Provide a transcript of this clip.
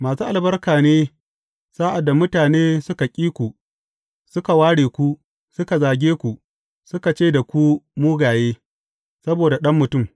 Masu albarka ne sa’ad da mutane suka ƙi ku, suka ware ku, suka zage ku, suna ce da ku mugaye, saboda Ɗan Mutum.